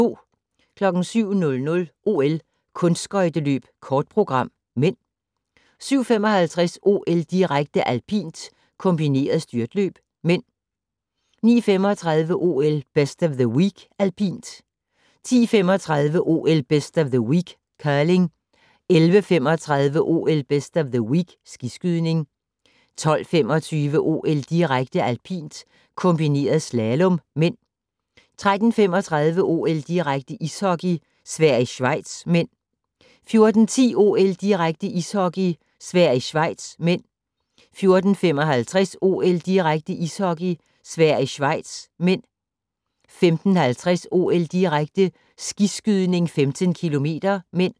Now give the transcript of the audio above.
07:00: OL: Kunstskøjteløb kort program (m) 07:55: OL-direkte: Alpint - kombineret styrtløb (m) 09:35: OL: Best of the Week - alpint 10:35: OL: Best of the Week - curling 11:35: OL: Best of the Week - skiskydning 12:25: OL-direkte: Alpint - kombineret slalom (m) 13:35: OL-direkte: Ishockey - Sverige-Schweiz (m) 14:10: OL-direkte: Ishockey - Sverige-Schweiz (m) 14:55: OL-direkte: Ishockey - Sverige-Schweiz (m) 15:50: OL-direkte: Skiskydning - 15 km (m)